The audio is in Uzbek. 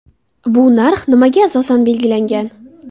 Bu narx nimaga asosan belgilangan?